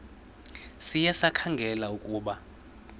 sikhe sikhangele ukuba